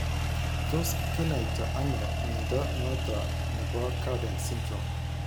Tos kinyai to ano mnyondo noton nebo Cowden syndrome ?